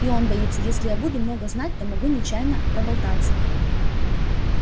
и он боится если я буду много знать то могу нечаянно проболтаться